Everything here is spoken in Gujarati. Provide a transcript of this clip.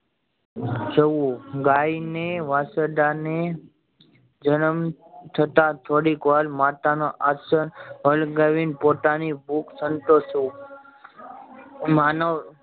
ગાય ને વાછરડા ને જન્મ થતા થોડીક વાર માતા નો આંચલ પોતાની ભૂખ સંતોશવું માનવ